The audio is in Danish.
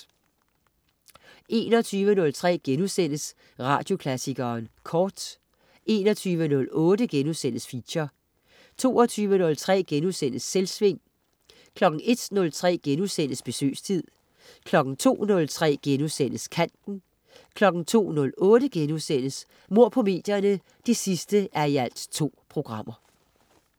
21.03 Radioklassikeren Kort* 21.08 Feature* 22.03 Selvsving* 01.03 Besøgstid* 02.03 Kanten* 02.08 Mord på medierne 2:2*